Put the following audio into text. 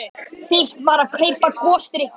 Fyrst var að kaupa gosdrykkina.